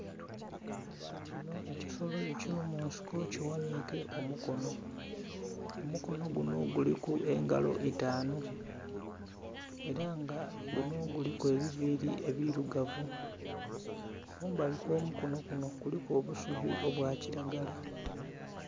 Kinho ekisolo eky'omunsiko kighanhike omukono, omukono guno guliku engalo itanhu, ela nga guno guliku ebiviili ebilugavu. Kumbali kw'omukono kuno kuliku obusubi obwa kilagala.